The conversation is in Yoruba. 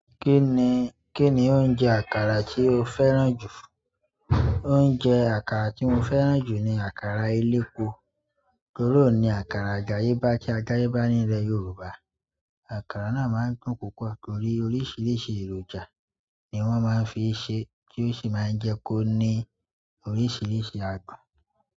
Kí ni, kí ni oúnjẹ àkàrà tí o fẹ́ràn jù? Oúnjẹ àkàrà tí mo fẹ́ràn jù ni àkàrà elépo torí óun ni àkàrà àdàyebá tí àdàye bá nílẹ̀ Yorùbá. Àkàrà náà máa ń dùn púpọ̀ torí oríṣiríṣi èròjà ni wọ́n máa ń fi ṣe tí ó sì máa ń jẹ́ kó ní oríṣiríṣi àdun.